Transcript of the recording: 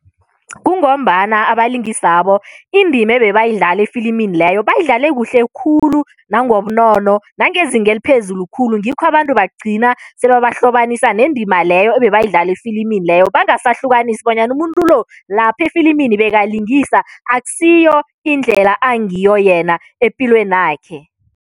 Kungombana abalingisabo indima ebebayidlala efilimini leyo, bayidlale kuhle khulu nangobunono nangezinga eliphezulu khulu, ngikho abantu bagcina sebabahlobanisa nendima leyo ebebayidlala efilimini leyo bangasahlukanisi bonyana umuntu lo, lapha efilimini bekalingisa, akusiyo indlela angiyo yena epilwenakhe.